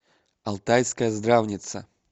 алтайская здравница